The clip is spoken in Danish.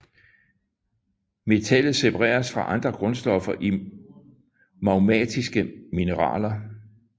Metallet separeres fra andre grundstoffer i magmatiske mineraler